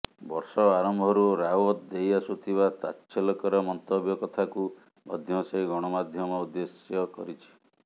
ବର୍ଷ ଆରମ୍ଭରୁ ରାଓ୍ବତ୍ ଦେଇ ଆସୁଥିବା ତାଚ୍ଛଲ୍ୟକର ମନ୍ତବ୍ୟ କଥାକୁ ମଧ୍ୟ ସେ ଗଣମାଧ୍ୟମ ଉଦ୍ଦେଶ୍ୟ କରିଛି